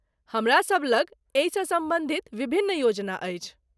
हमरासब लग एहिसँ सम्बन्धित विभिन्न योजना अछि।